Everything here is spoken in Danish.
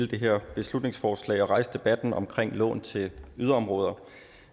her beslutningsforslag og rejse debatten om lån til yderområder